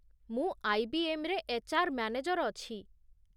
ମୁଁ ଆଇ.ବି.ଏମ୍. ରେ HR. Manager ଅଛି।